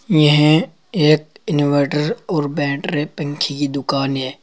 यह एक इनवर्टर और बैटरी पंखे की दुकान है।